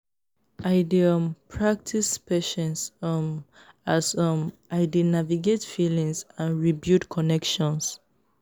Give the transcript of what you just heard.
i dey um practice patience um as um i dey navigate feelings and rebuild connections.